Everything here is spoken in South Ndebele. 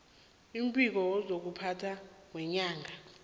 umbiko wezokuphatha weenyanga